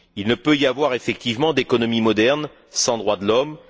Il ne peut y avoir, effectivement, d'économie moderne sans droits de l'homme.